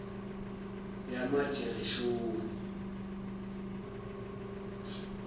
yamagereshoni